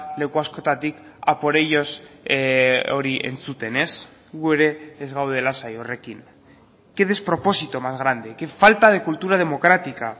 leku askotatik a por ellos hori entzuten ez gu ere ez gaude lasai horrekin qué despropósito más grande qué falta de cultura democrática